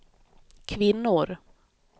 kvinnor